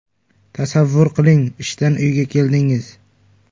Tasavvur qiling, ishdan uyga keldingiz.